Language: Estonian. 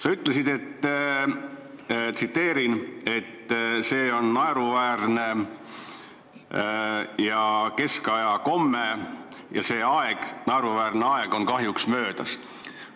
Sa ütlesid – tsiteerin –, et see on naeruväärne ja keskaja komme ning see naeruväärne aeg on möödas.